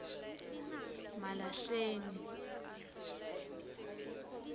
malahleni